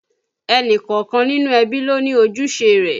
Ẹnìkọ̀ọ̀kan nínú ẹbí ló ní ojúṣe rẹ̀